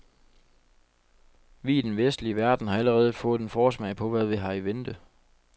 Vi i den vestlige verden har allerede fået en forsmag på, hvad vi har i vente.